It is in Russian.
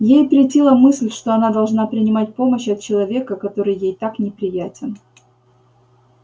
ей претила мысль что она должна принимать помощь от человека который ей так неприятен